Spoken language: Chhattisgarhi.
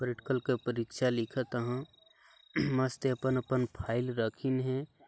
प्रैक्टिकल के परीक्षा लिखत ह मस्त अपन अपन फाइल रखिन हे।